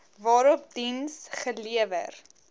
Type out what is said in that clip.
waarop diens gelewer